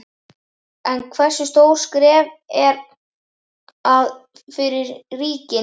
En hversu stórt skref er að fyrir ríkin?